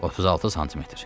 36 sm.